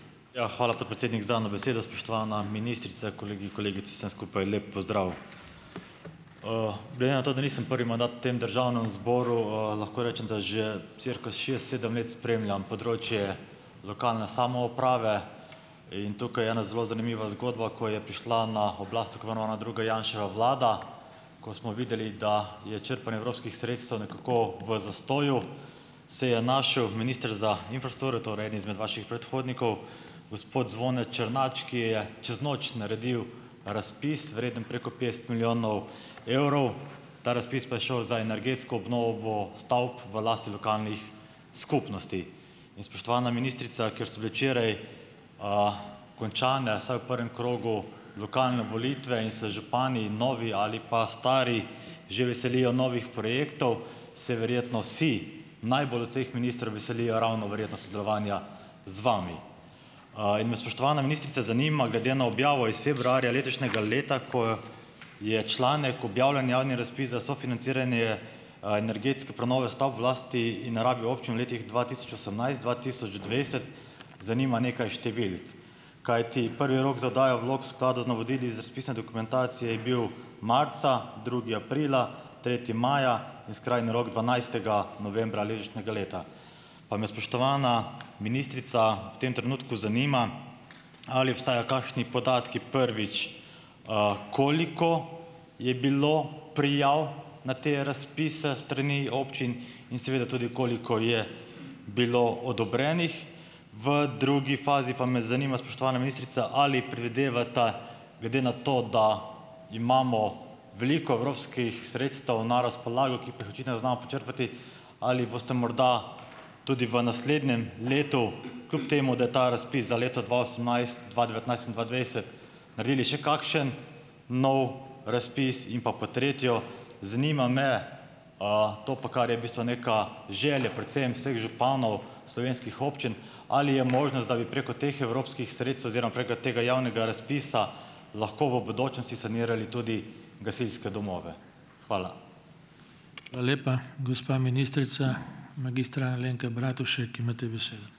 Ja, hvala, podpredsednik za dano besedo. Spoštovana ministrica, kolegi in kolegice, vsem skupaj lep pozdrav! Glede na to, da nisem prvi mandat v tem Državnem zboru, lahko rečem, da že cirka šest, sedem let spremljam področje lokalne samouprave in tukaj je ena zelo zanimiva zgodba, ko je prišla na oblast tako imenovana druga Janševa vlada, ko smo videli, da je črpanje evropskih sredstev nekako v zastoju, se je našel minister za infrastrukturo, torej eden izmed vaših predhodnikov, gospod Zvone Črnač, ki je čez noč naredil razpis, vreden preko petdeset milijonov evrov, ta razpis pa je šel za energetsko obnovo stavb v lasti lokalnih skupnosti. In spoštovana ministrica, ker so bile včeraj končane, vsaj v prvem krogu, lokalne volitve in se župani, novi ali pa stari že veselijo novih projektov, se verjetno vsi, najbolj od vseh ministrov veselijo ravno verjetno sodelovanja z vami. In me, spoštovana ministrica, zanima, glede na objavo iz februarja letošnjega leta, ko je članek objavljen javni razpis za sofinanciranje energetske prenove stavb v lasti in rabi občin v letih dva tisoč osemnajst dva tisoč dvajset, zanima nekaj številk. Kajti prvi rok za oddajo vlog v skladu z navodili iz razpisne dokumentacije je bil marca, drugi aprila, tretji maja in skrajni rok dvanajstega novembra letošnjega leta. Pa me, spoštovana ministrica, v tem trenutku zanima: Ali obstajajo kakšni podatki, prvič, koliko je bilo prijav na te razpise s strani občin in seveda tudi, koliko je bilo odobrenih? V drugi fazi pa me zanima, spoštovana ministrica: ali predvidevate, glede na to, da imamo veliko evropskih sredstev na razpolago, ki jih pa očitno ne znamo počrpati, ali boste morda tudi v naslednjem letu, kljub temu da je ta razpis za leto dva osemnajst, dva devetnajst in dva dvajset, naredili še kakšen nov razpis? In pa pod tretjo: zanima me, to pa kar je bistvo neka želja predvsem vseh županov slovenskih občin, ali je možnost, da bi preko teh evropskih sredstev oziroma preko tega javnega razpisa lahko v bodočem si sanirali tudi gasilske domove? Hvala.